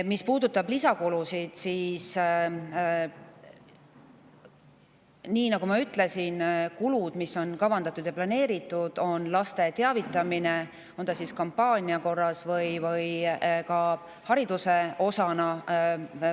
Mis puudutab lisakulusid, siis kulu on planeeritud – nii, nagu ma ütlesin – laste teavitamiseks, olgu see kampaania korras või hariduse osana.